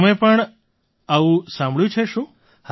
તમે પણ આવું સાંભળ્યું છે શું